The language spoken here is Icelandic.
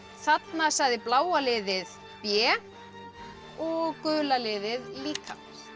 þarna sagði bláa liðið b og gula liðið líka